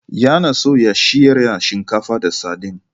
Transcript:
Yana so ya shirya shinkafa da sardine.